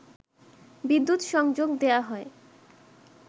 বিদ্যুৎ সংযোগ দেয়া হয়